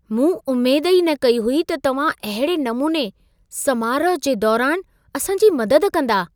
मूं उमेद ई न कई हुई त तव्हां अहिड़े नमूने समारोहु जे दौरान असांजी मदद कंदा।